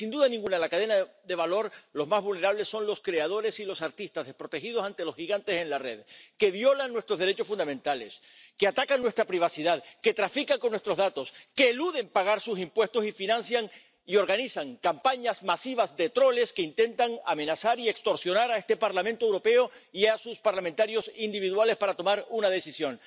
Y sin duda ninguna, en la cadena de valor, los más vulnerables son los creadores y los artistas, desprotegidos ante los gigantes en la red, que violan nuestros derechos fundamentales, que atacan nuestra privacidad, que trafican con nuestros datos, que eluden pagar sus impuestos y financian y organizan campañas masivas de troles que intentan amenazar y extorsionar a este Parlamento Europeo y a sus parlamentarios individuales para tomar una decisión.